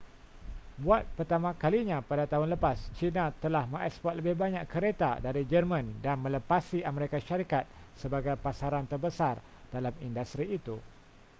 buat pertama kalinya pada tahun lepas china telah mengeksport lebih banyak kereta dari jerman dan melepasi amerika syarikat sebagai pasaran terbesar dalam industri itu